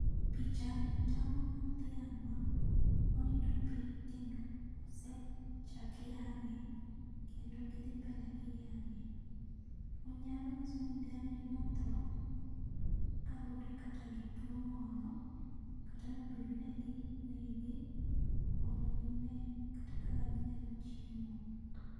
pichani tangonwa dhiang monindo piny kendo osechak yange kendo gidhi mbele gi yange manyalo nyiso ni dhiang ni nothoo kaluwore kata gi tuo moro kata nobedo ni ne ginege mondo gine kata kaka ginyalo chiemo